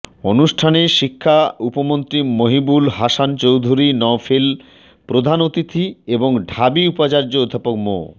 অনুষ্ঠানে শিক্ষা উপমন্ত্রী মহিবুল হাসান চৌধুরী নওফেল প্রধান অতিথি এবং ঢাবি উপাচার্য অধ্যাপক মো